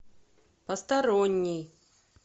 посторонний